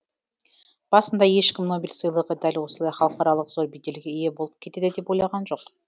басында ешкім нобель сыйлығы дәл осылай халықаралық зор беделге ие болып кетеді деп ойлаған жоқ